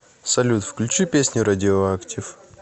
салют включи песню радиоактив